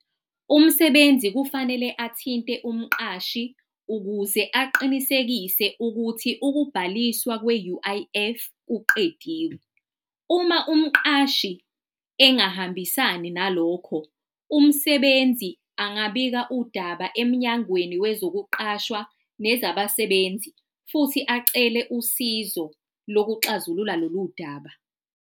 Umsebenzi kufanele athinte umqashi ukuze aqinisekise ukuthi ukubhaliswa kwe-U_I_F kuqediwe. Uma umqashi engahambisani nalokho, umsebenzi angabika udaba emnyangweni wezokuqashwa nezabasebenzi futhi acele usizo lokuxazulula lolu daba.